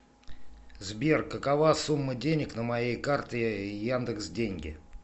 сбер какова сумма денег на моей карте яндекс деньги